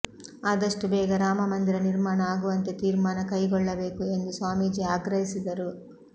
ಆದಷ್ಟು ಬೇಗ ರಾಮ ಮಂದಿರ ನಿರ್ಮಾಣ ಆಗುವಂತೆ ತೀರ್ಮಾನ ಕೈಗೊಳ್ಳಬೇಕು ಎಂದು ಸ್ವಾಮೀಜಿ ಆಗ್ರಹಿಸಿದರು